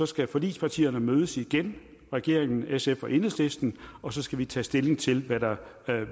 skal forligspartierne mødes igen regeringen sf og enhedslisten og så skal vi tage stilling til hvad der